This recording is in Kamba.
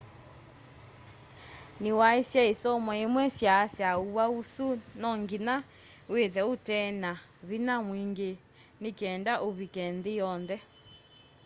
ni waisye isomo imwe syaasya uwau usu no nginya withe utena vinya mwingi ni kenda uvike nthi yonthe